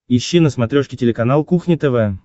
ищи на смотрешке телеканал кухня тв